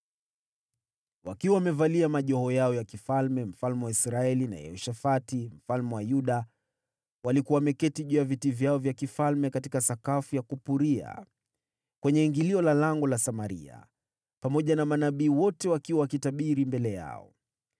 Wakiwa wamevalia majoho yao ya kifalme, mfalme wa Israeli na Yehoshafati mfalme wa Yuda walikuwa wameketi juu ya viti vyao vya kifalme katika sakafu ya kupuria, kwenye ingilio la lango la Samaria, pamoja na manabii wote wakiwa wakitabiri mbele yao.